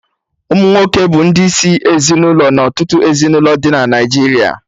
Ụmụnwoke bụ ndị isi ezinụlọ na ọtụtụ ezinụlọ dị na Naijiria